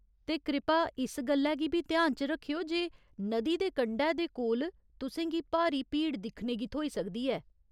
ते कृपा इस गल्लै गी बी ध्यान च रक्खेओ जे नदी दे कंढै दे कोल तु'सें गी भारी भीड़ दिक्खने गी थ्होई सकदी ऐ।